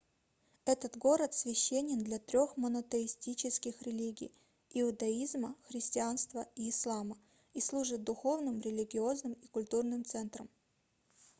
этот город священен для трёх монотеистических религий иудаизма христианства и ислама и служит духовным религиозным и культурным центром